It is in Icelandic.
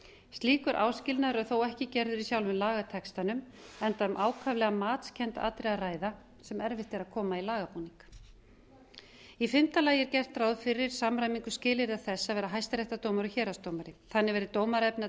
slíkur áskilnaður er þó ekki gerður í sjálfum lagatextanum enda um ákaflega matskennd atriði að ræða sem erfitt er að koma í lagabúnað í fimmta lagi er gert ráð fyrir samræmingu skilyrða þess að vera hæstaréttardómari og héraðsdómari þannig verði dómaraefni að